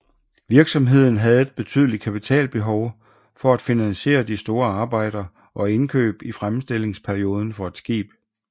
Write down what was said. Virksomheden havde et betydeligt kapitalbehov for at finansiere de store arbejder og indkøb i fremstillingsperioden for et skib